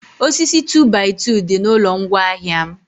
osisi 2by2 dị na ụlọ ngwa ahịa m